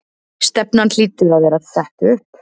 Stefnan hlýtur að vera sett upp?